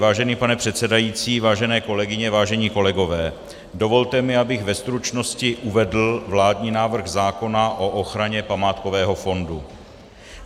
Vážený pane předsedající, vážené kolegyně, vážení kolegové, dovolte mi, abych ve stručnosti uvedl vládní návrh zákona o ochraně památkového fondu.